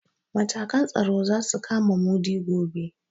Matakan tsaro za su kama Mudi gobe.